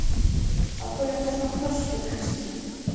Af hverju ertu svona þrjóskur, Kristína?